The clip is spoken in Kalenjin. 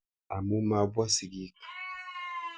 Amun mapwa sigik.